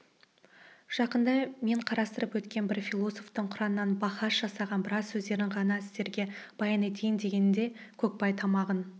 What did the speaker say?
жақында мен қарастырып өткен бір философтың құранмен бахас жасаған біраз сөздерін ғана сіздерге баян етейін дегенде көкбай тамағын